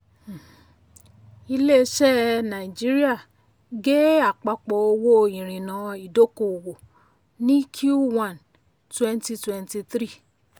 um ilé iṣé nàìjíríà gé àpapọ̀ owó ìrìnà ìdọ́kowọ̀ ní q one twenty twenty three